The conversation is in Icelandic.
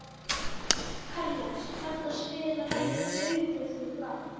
Karles, kanntu að spila lagið „Augun þín blá“?